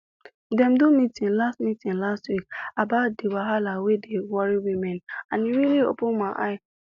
dem do meeting last meeting last week about that wahala wey dey worry women and e really open eye